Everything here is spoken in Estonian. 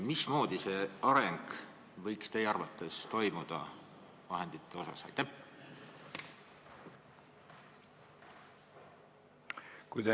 Mismoodi see areng võiks teie arvates vahendite vallas toimuda?